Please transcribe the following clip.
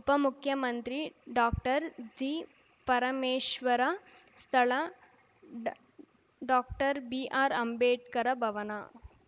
ಉಪಮುಖ್ಯಮಂತ್ರಿ ಡಾಕ್ಟರ್ಜಿಪರಮೇಶ್ವರ ಸ್ಥಳ ಡಾಕ್ಟರ್ಬಿಆರ್‌ಅಂಬೇಡ್ಕರ ಭವನ